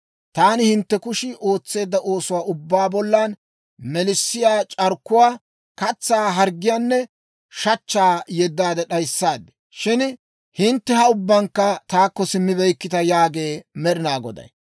Taani hintte kushii ootseedda oosuwaa ubbaa bollan melissiyaa c'arkkuwaa, katsaa harggiyaanne shachchaa yeddaade d'ayissaad. Shin hintte ha ubbankka taakko simmibeykkita» yaagee Med'inaa Goday.